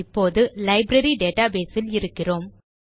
இப்போது library database இல் இருக்கிறோம்